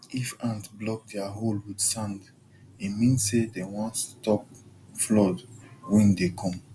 if ant block their hole with sand e mean say dem wan stop flood wey dey come